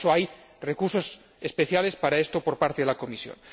En todo caso hay recursos especiales para ello por parte de la Comisión.